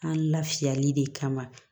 An lafiyali de kama